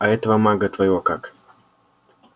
а этого мага твоего как